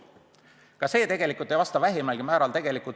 Ka see ei vasta vähimalgi määral tõele.